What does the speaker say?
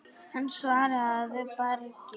Hann svaraði að bragði.